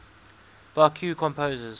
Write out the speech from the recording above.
baroque composers